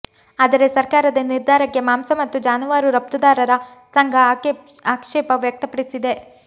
ಆದರೆ ಸರ್ಕಾರದ ನಿರ್ಧಾರಕ್ಕೆ ಮಾಂಸ ಮತ್ತು ಜಾನುವಾರು ರಫ್ತುದಾರರ ಸಂಘ ಆಕ್ಷೇಪ ವ್ಯಕ್ತಪಡಿಸಿದೆ